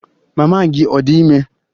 Mama gị ọ̀ dị ime?